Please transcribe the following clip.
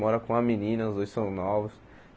Mora com uma menina, os dois são novos.